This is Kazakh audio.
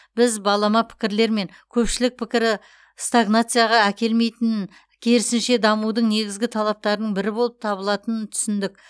біз балама пікірлер мен көпшілік пікірі стагнацияға әкелмейтінін керісінше дамудың негізгі талаптарының бірі болып табылатынын түсіндік